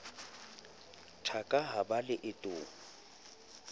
taka ha ba le leetong